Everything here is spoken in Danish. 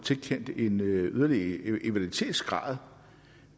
tilkendt en yderlige invaliditetsgrad